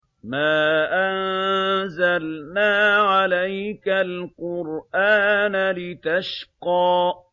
مَا أَنزَلْنَا عَلَيْكَ الْقُرْآنَ لِتَشْقَىٰ